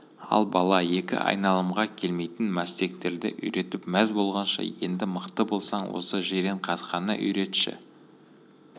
ал бала екі айналымға келмейтін мәстектерді үйретіп мәз болғанша енді мықты болсаң осы жиренқасқаны үйретші